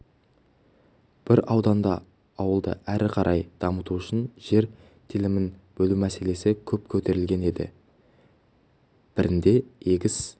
бір ауданда ауылды әрі қарай дамыту үшін жер телімін бөлу мәселесі көп көтерілген енді бірінде егіс